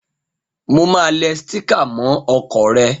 Mo máa le sticker mó okò re